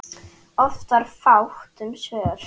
Oft var fátt um svör.